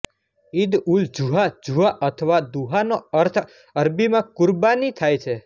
ઈદઉલજુહા જુહા અથવા દુહાનો અર્થ અરબીમાં કુરબાની થાય છે